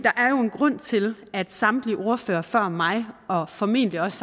grund til at samtlige ordførere før mig og formentlig også